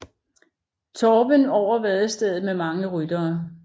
Torben over vadestedet med mange ryttere